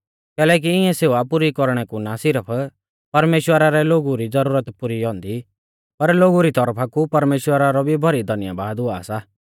कैलैकि इऐं सेवा पुरी कौरणै कु ना सिरफ परमेश्‍वरा रै लोगु री ज़रूरत पुरी औन्दी पर लोगु री तौरफा कु परमेश्‍वरा रौ भी भौरी धन्यबाद हुआ सा